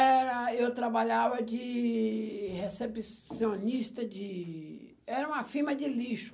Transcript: Era eu trabalhava de recepcionista de... era uma firma de lixo.